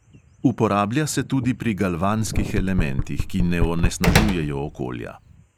Uporablja se tudi pri galvanskih elementih, ki ne onesnažujejo okolja.